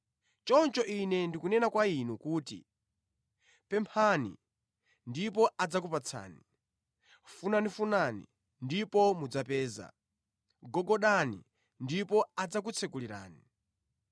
“Choncho Ine ndikunena kwa inu kuti: Pemphani ndipo adzakupatsani. Funafunani ndipo mudzapeza. Gogodani ndipo adzakutsekulirani.